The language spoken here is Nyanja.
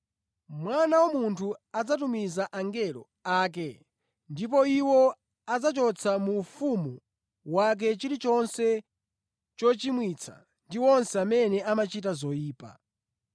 Mwana wa Munthu adzatumiza angelo ake ndipo iwo adzachotsa mu ufumu wake chilichonse chochimwitsa ndi onse amene amachita zoyipa.